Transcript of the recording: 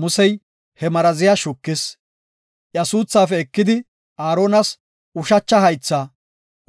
Musey he maraziya shukis; iya suuthaafe ekidi, Aaronas ushacha haythaa,